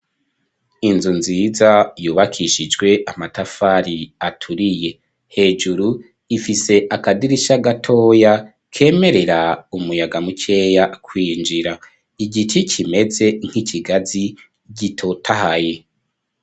Inzu nziza, yubakishijwe amatafari, aturiye; hejuru, ifise akadirisha gatoya, kemerera, umuyaga mukeya, kwinjira; igiti kimeze nk'ikigazi, gitotahaye.